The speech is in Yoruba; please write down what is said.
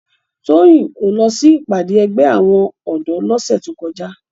Toyin ó lò si ipàdé ègbè áwòn òdò lòsè tókòjá